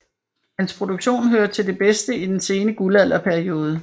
Hans produktion hører til det bedste i den sene guldalderperiode